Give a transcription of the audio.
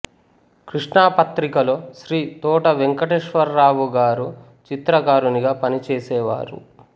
కృష్ణా పత్రికలో శ్రీ తోట వెంకటేశ్వరరావు గారు చిత్రకారునిగా పనిచేసేవారు